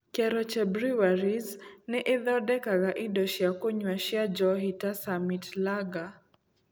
Keroche Breweries nĩ ĩthondekaga indo cia kũnyua cia njohi ta Summit Lager.